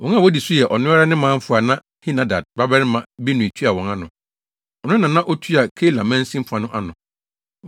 Wɔn a wodi so yɛ ɔno ara ne manfo a na Henadad babarima Binui tua wɔn ano. Ɔno na na otua Keila mansin fa no ano.